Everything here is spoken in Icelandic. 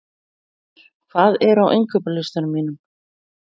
Eðvar, hvað er á innkaupalistanum mínum?